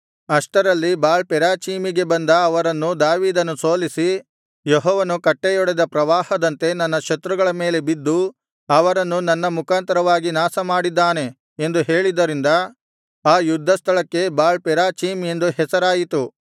ಅಷ್ಟರಲ್ಲಿ ಬಾಳ್ ಪೆರಾಚೀಮಿಗೆ ಬಂದ ಅವರನ್ನು ದಾವೀದನು ಸೋಲಿಸಿ ಯೆಹೋವನು ಕಟ್ಟೆಯೊಡೆದ ಪ್ರವಾಹದಂತೆ ನನ್ನ ಶತ್ರುಗಳ ಮೇಲೆ ಬಿದ್ದು ಅವರನ್ನು ನನ್ನ ಮುಖಾಂತರವಾಗಿ ನಾಶಮಾಡಿದ್ದಾನೆ ಎಂದು ಹೇಳಿದ್ದರಿಂದ ಆ ಯುದ್ಧ ಸ್ಥಳಕ್ಕೆ ಬಾಳ್ ಪೆರಾಚೀಮ್ ಎಂದು ಹೆಸರಾಯಿತು